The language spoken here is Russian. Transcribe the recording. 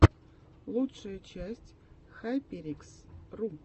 лучшая часть хайперикс ру